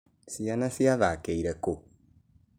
Ciana ciathakĩire ku?